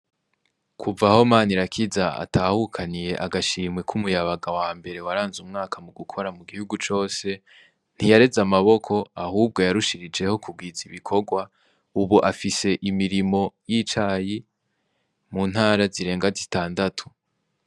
Kuva aho Manirakiza atahukaniye agashimwe k'umuyabaga wambere waranze umwaka mu gukora mu gihugu cose ntiyareze amaboko ahubwo yarushirijeho kugwiza ibikorwa ubu afise imirimo y'icayi mu ntara zirenga zitandatu.